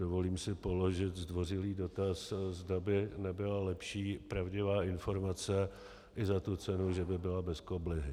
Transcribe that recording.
Dovolím si položit zdvořilý dotaz, zda by nebyla lepší pravdivá informace i za tu cenu, že by byla bez koblihy.